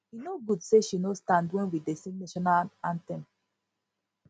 e no good say she no stand wen we dey sing national national anthem